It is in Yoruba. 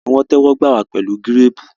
a ní wón tẹwọgbà wá pẹlu Gírèèpù